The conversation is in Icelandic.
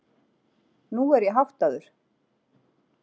Nú er ég háttaður.